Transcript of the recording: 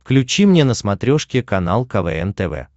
включи мне на смотрешке канал квн тв